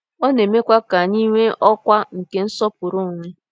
Ọ na-emekwa ka anyị nwee ọkwa nke nsọpụrụ onwe.